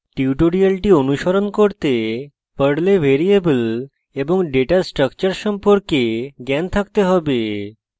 tutorial অনুশীলন করতে পর্লে ভ্যারিয়েবল এবং ডেটা স্ট্রাকচার সম্পর্কে জ্ঞান থাকতে have